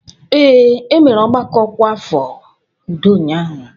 Ee, e mere ọgbakọ ọkwa afọ udo ụnyahụ.